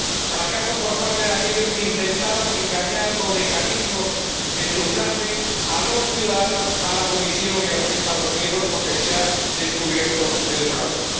Fracaso por parte de aquellos que intentaban engañar con mecanismos de trucaje a los ciudadanos, a la Comisión y a los Estados miembros, porque se ha descubierto el fraude